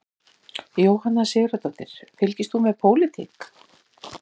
Jóhanna Sigurðardóttir: Fylgist þú með pólitík?